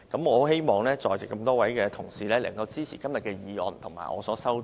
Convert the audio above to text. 我希望在席多位同事能支持今天的議案及我提出的修正案。